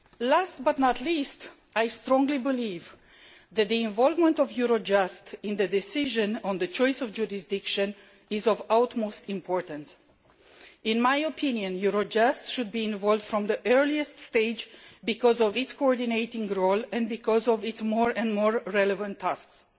Last but not least, I strongly believe that the involvement of Eurojust in the decision on the choice of jurisdiction is of the utmost importance. In my opinion, Eurojust should be involved from the earliest stage because of its coordinating role and because of its more and more relevant tasks.